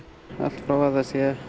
allt frá að það sé